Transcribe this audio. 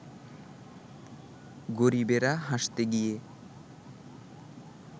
গরিবেরা হাসতে গিয়ে